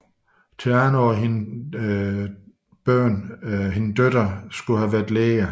Theano og hendes døtre skal have været læger